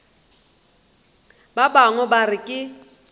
ba bangwe ba re ke